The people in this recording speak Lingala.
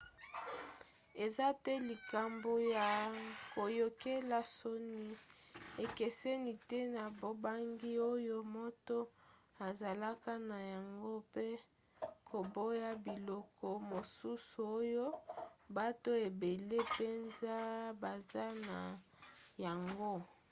eza te likambo ya koyokela soni: ekeseni te na bobangi oyo moto azalaka na yango mpe koboya biloko mosusu oyo bato ebele mpenza baza na yango